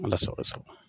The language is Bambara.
Ala sago i sago